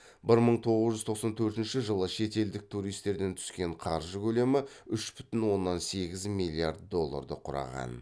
бір мың тоғыз жүз тоқсан төртінші жылы шетелдік туристерден түскен қаржы көлемі үш бүтін оннан сегіз миллиард долларды құраған